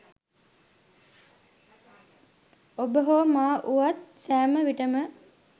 ඔබ හෝ මා වුවත් සෑම විටම